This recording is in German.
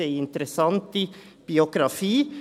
Sie haben interessante Biografien.